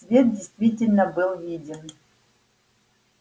свет действительно был виден